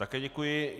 Také děkuji.